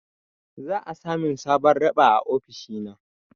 Za'a sa min sabon raɓa a ofishina.